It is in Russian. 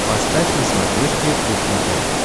поставь на смотрешке кухня тв